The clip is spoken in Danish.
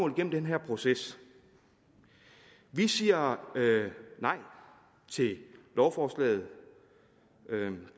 den her proces vi siger nej til lovforslaget